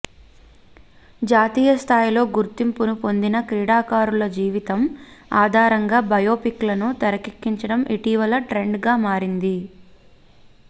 జాతీయ స్థాయిలో గుర్తింపును పొందిన క్రీడాకారుల జీవితం ఆధారంగా బయోపిక్ లను తెరకెక్కించడం ఇటీవల ట్రెండ్ గా మారింది